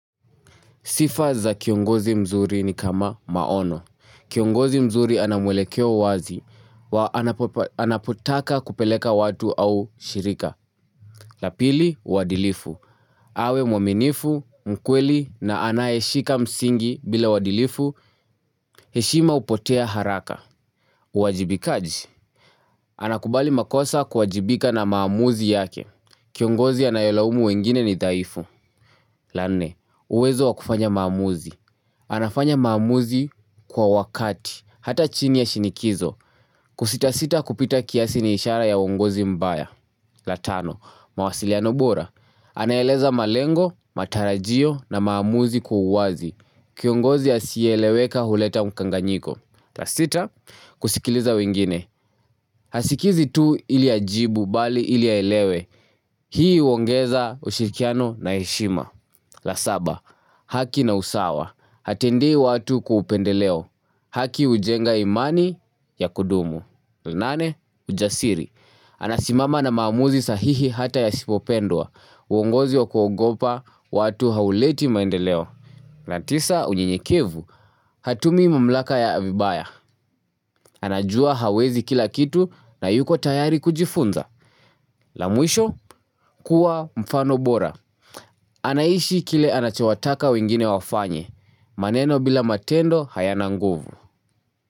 Sifa za kiongozi mzuri ni kama maono. Kiongozi mzuri anamwelekeo wazi. Anapotaka kupeleka watu au shirika. La pili, wadilifu. Awe mwaminifu, mkweli na anayeshika msingi bila wadilifu. Heshima hupotea haraka. Uwajibikaji. Anakubali makosa kuwajibika na maamuzi yake. Kiongozi anayolaumu wengine ni dhaifu. La nne, uwezo wakufanya maamuzi. Anafanya maamuzi kwa wakati, hata chini ya shinikizo kusita sita kupita kiasi ni ishara ya uongozi mbaya la tano, mawasiliano bora Anaeleza malengo, matarajio na maamuzi kwa uwazi Kiongozi asiyeleweka huleta mkanganyiko la sita, kusikiliza wengine Hasikizi tu iliajibu bali iliaelewe Hii uongeza ushirikiano na heshima la saba, haki na usawa Hatendei watu kwa upendeleo. Haki ujenga imani ya kudumu. Nane, ujasiri. Anasimama na maamuzi sahihi hata ya yasipopendwa. Uongozi wa kuogopa, watu hauleti maendeleo. Na tisa, unyenyekevu. Hatumii mamlaka ya vibaya. Anajua hawezi kila kitu na yuko tayari kujifunza. La mwisho, kuwa mfano bora. Anaishi kile anachewataka wengine wafanye. Maneno bila matendo hayana nguvu.